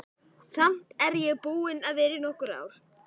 Samt er ég búin að vera í nokkur ár.